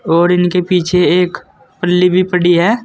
और इनके पीछे एक पल्ली भी पड़ी है।